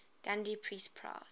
gandhi peace prize